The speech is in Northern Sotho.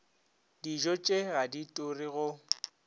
dijotše ga di ture go